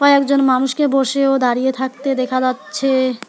একজন মানুষকে বসে ও দাঁড়িয়ে থাকতে দেখা যাচ্ছে।